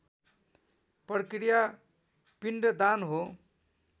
प्रक्रिया पिण्डदान हो